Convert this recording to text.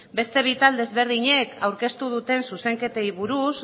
beste bi talde desberdinek aurkeztu duten zuzenketei buruz